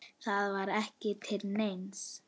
Það var ekki til neins.